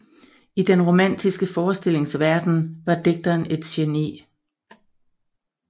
I den romantiske forestillingsverden var digteren et geni